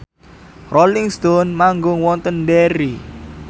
Rolling Stone manggung wonten Derry